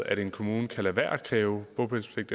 at en kommune kan lade være med at kræve bopælspligt